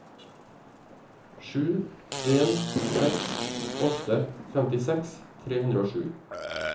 sju en seks åtte femtiseks tre hundre og sju